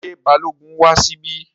Ṣé Balógun wá síbí?